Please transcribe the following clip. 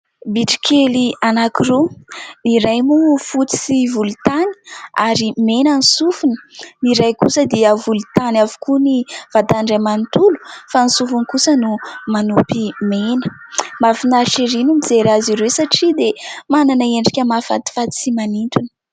Bitro kely anankiroa, ny iray moa fotsy sy volontany ary mena ny sofiny, ny iray kosa dia volontany avokoa ny vatany iray manonolo fa ny sofiny kosa no manopy mena. Mahafinaritra ery ny mijery azy ireo satria dia manana endrika mahafatifaty sy manintona.